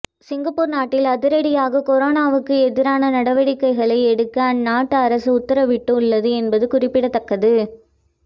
Singapore நாட்டில் அதிரடியாக கொரோனாவுக்கு எதிரான நடவடிக்கைகளை எடுக்க அந்நாட்டு அரசு உத்தரவிட்டு உள்ளது என்பது குறிப்பிடத்தக்கது